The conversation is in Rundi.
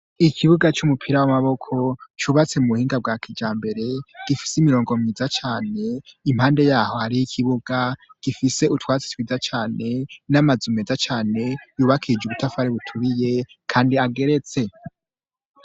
Ishure ry'intango giza cane ryubatse mu buhinga bwa kija mbere rubakije amatafari aturiye irageretse imbere yaryo hashashe amabuye meza cane ikibuji ro ha shaco gifise ubwatsi bwiza cane harimo n'amabendera manini manini.